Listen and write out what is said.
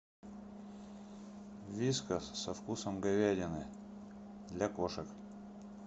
вискас со вкусом говядины для кошек